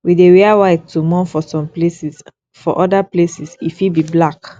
we dey wear white to mourn for some places for oda places e fit be black